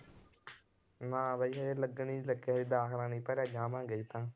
ਨਾ ਬਾਈ ਹਜੇ ਲੱਗਣ ਹੀ ਨੀ ਲੱਗੇ ਹਜੇ ਦਾਖਲਾ ਨੀ ਭਰਿਆ ਜਾਵਾਂਗੇ ਹਜੇ ਤਾਂ